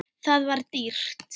Það var dýrt.